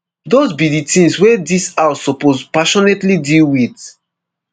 those be di tins wey dis house suppose passionately deal with”.